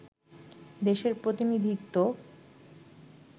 দেশের প্রতিনিধিত্ব